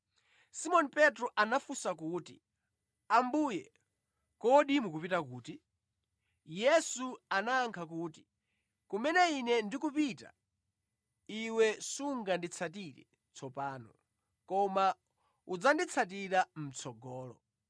Simoni Petro anafunsa kuti, “Ambuye, kodi mukupita kuti?” Yesu anayankha kuti, “Kumene Ine ndikupita iwe sunganditsatire tsopano, koma udzanditsatira mʼtsogolo.”